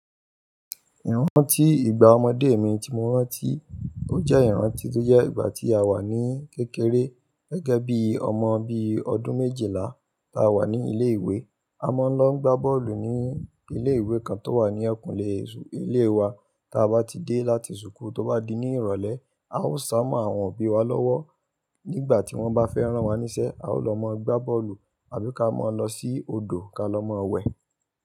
Ìrántí ìgbà ọmọdé mi tí mo rántí, ó jẹ́ ìrántí tó jẹ́ ìgbà tí a wà ní kékeré gẹ́gẹ́ bí ọmọ, bí ọdún méjìlá tá a wà ní ilé ìwé. A máa ń lọ gbá bọ́ọ̀lù ní ilé ìwé kan tó wà ní eyikun le ilé wa. Tá bá ti dé láti ṣùkú tó bá di ní ìrọ̀lẹ́, a ó sá mọ́ àwọn òbí wa lọ́wọ́. Nígbà tí wọ́n bá fẹ́ rán wa níṣẹ́, a ó lọ mọ gbá bọ́ọ̀lù àbí ka mọ lọ sí odò ka lọ mọ wẹ̀.